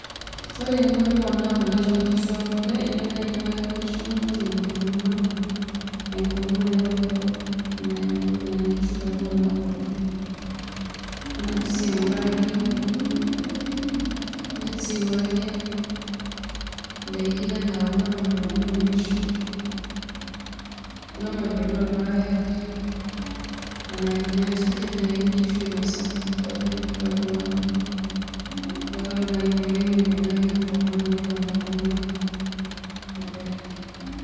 Ore eninko piiponaa kule to nkishu e kule indim ainyang'aki nkishu inonok enkurma, enkurma naiko peeku nanya nkishu peeponaa kule. Niindim sii aing'uraki indim sii aing'uraki ndaikin enaa kuna mapepeni o nkishu, kuna mapepeni orpaek nena kinyat, kidim nai nkishu ainosa peponaa kule kake ore nai oleng' indim ainyang'aki enkurma amu keponaa enkurma kule.